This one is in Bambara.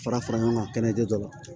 Fara fara ɲɔgɔn kan kɛnɛ kɛ la